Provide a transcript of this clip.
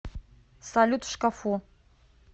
салют в шкафу